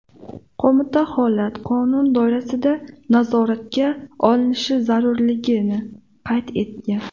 Qo‘mita holat qonun doirasida nazoratga olinishi zarurligini qayd etgan.